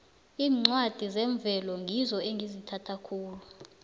iincwadi zemvelo ngizo engizithanda khulu